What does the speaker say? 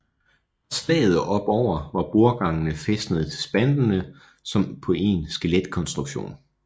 Fra slaget og opover var bordgangene fæstede til spanterne som på en skeletkonstruktion